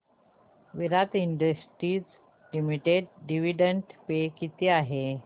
विराट Industries Limited dividend पे किती आहे